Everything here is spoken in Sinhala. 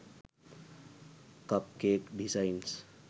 cup cake designs